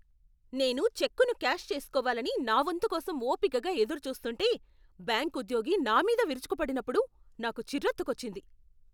నేను చెక్కును క్యాష్ చేస్కోవాలని నా వంతు కోసం ఓపికగా ఎదురుచూస్తుంటే, బ్యాంక్ ఉద్యోగి నామీద విరుచుకుపడినప్పుడు నాకు చిరెత్తుకొచ్చింది.